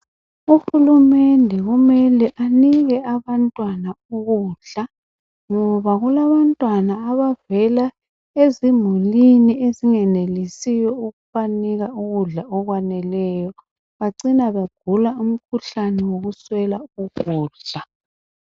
Uhulumende kumele anike abantwana ukudla ngoba kulabantwana abavela ezimulini ezingenelisiyo ukubanika ukudla okwaneleyo bacina begula umkhuhlane wokuswela ukudla.